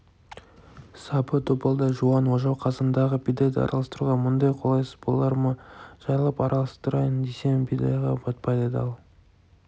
сабы добалдай жуан ожау қазандағы бидайды араластыруға мұндай қолайсыз болар ма жайлап араластырайын десем бидайға батпайды да ал